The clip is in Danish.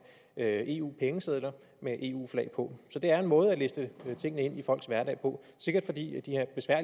have eu pengesedler med eu flag på så det er en måde at liste tingene ind i folks hverdag på sikkert fordi